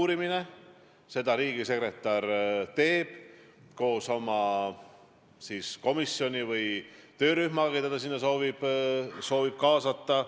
Ma loen täna ajakirjandusest, et te olete isegi sellise konstruktsiooni püsti pannud, et kui Mart Järvik täna lahkub, siis te olete nõus vabandama.